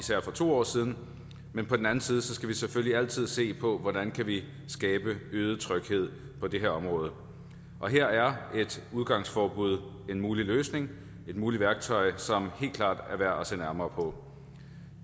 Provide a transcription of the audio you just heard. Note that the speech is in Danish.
to år siden men på den anden side skal vi selvfølgelig altid se på hvordan vi skabe øget tryghed på det her område og her er et udgangsforbud en mulig løsning et muligt værktøj som helt klart er værd at se nærmere på